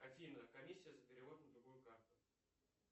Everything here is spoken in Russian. афина комиссия за перевод на другую карту